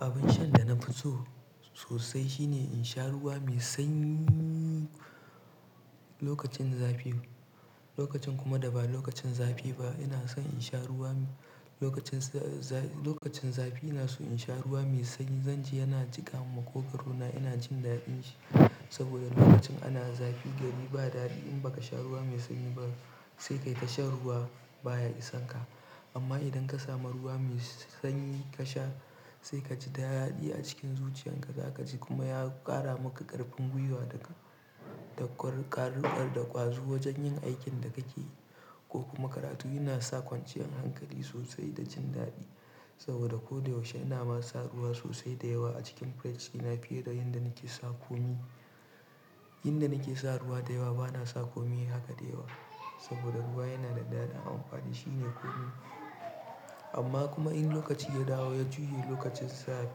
Abin shan da na fi so sosai shine in sha ruwa mai sanyi lokacin zafi. Lokacin kuma da ba lokacin zafi ba ina son in sha ruwa. Lokacin za-za- lokacin zafi ina so in sha ruwa mai sanyi. Zanje yana jika min makogorona ina jin daɗin shi saboda lokacin ana zafi gari ba daɗi in baka sha ruwa mai sanyi ba sai kai tashan ruwa baya isan ka. Amma idan ka samu ruwa mai sanyi ka sha sai kaji da daɗi a cikin zuciyar ka, za kaji kuma ya ƙara maka ƙarfin gwiwa daga da ƙwar-ƙwar- da ƙwazo wajen yin aikin da kake yi ko kuma karatu. Ina sa kwanciyan hankali sosai da jin daɗi saboda kodayaushe ina ma sa ruwa sosai da yawa a cikin fridge ina fiye da inda nike sa komai. Inda nike sa ruwa da yawa bana sa komai haka da yawa saboda ruwa yana da daɗi amfanin shine komai amma kuma in lokaci ya dawo ya juyi lokacin za-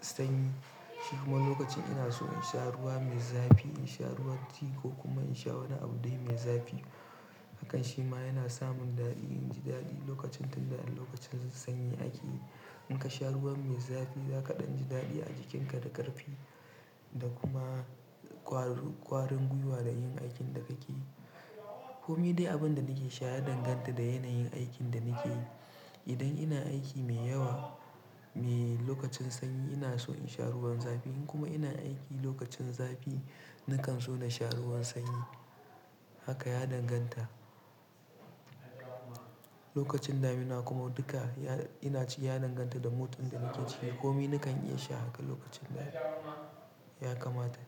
sanyi shi kuma lokacin ina so in sha ruwa mai zafi, in sha ruwan tea ko kuma in sha wani abu dai mai zafi. Hakan shi ma yana samun daɗi inji daɗi lokacin tunda lokacin sanyi ake. In ka sha ruwa mai zafi za ka ɗan ji daɗi a jikinka da ƙarfi da kuma ƙwar-ƙwarin gwiwa da yin aikin da kake yi. Komi dai abun da nake sha ya danganta da yanayin aikin da nakeyi Idan ina aiki mai yawa, mai lokacin sanyi ina so in sha ruwan zafi in kuma ina aiki lokacin zafi nakan so na sha ruwan sanyi. Haka ya danganta. Lokacin damina kuma duka ya- ina ci ya danganta da mode da nake ciki komai nakan iya sha haka lokacin da ya kamata.